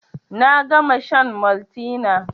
Na gama shan Maltina